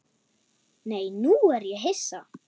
Nei, nú er ég hissa!